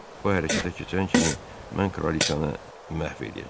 O hərəkətə keçən kimi mən Kraliçanı məhv eləyəcəm.